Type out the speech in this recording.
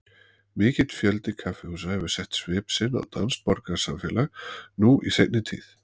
Mikill fjöldi kaffihúsa hefur sett svip sinn á danskt borgarsamfélag nú í seinni tíð.